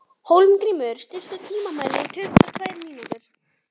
Hólmgrímur, stilltu tímamælinn á tuttugu og tvær mínútur.